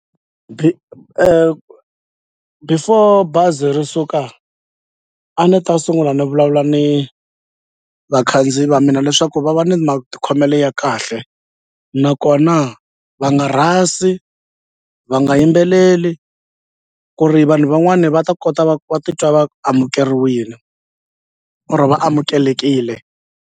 before bazi ri suka a ni ta sungula ni vulavula ni vakhandziyi va mina leswaku va va ni matikhomelo ya kahle nakona va nga rhasi va nga yimbeleli ku ri vanhu van'wani va ta kota va va titwa va amukeriwile or va amukelekile.